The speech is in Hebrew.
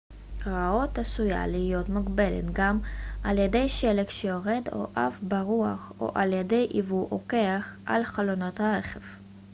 הראות עשויה להיות מוגבלת גם על ידי שלג שיורד או עף ברוח או על ידי עיבוי או קרח על חלונות הרכב